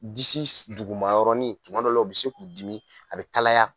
Disi s dugumayɔrɔnin tuma dɔ la o be se k'u dimi, a be kalaya